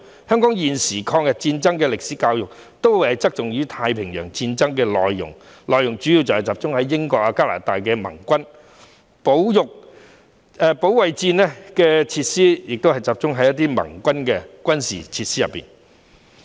香港現時的抗日戰爭歷史教育側重於太平洋戰爭的內容，主要集中在英國和加拿大等盟軍，保育戰時設施亦集中在盟軍的軍事設施。